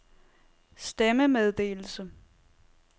stemmemeddelelse